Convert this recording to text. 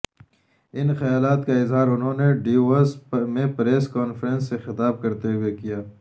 ان خیالات کا اظہار انہوں نے ڈیووس میں پریس کانفرنس سے خطاب کرتے ہوئے کیا